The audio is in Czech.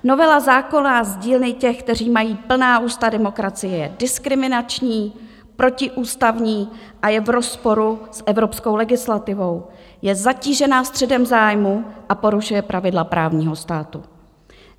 Novela zákona z dílny těch, kteří mají plná ústa demokracie, je diskriminační, protiústavní a je v rozporu s evropskou legislativou, je zatížena střetem zájmů a porušuje pravidla právního státu.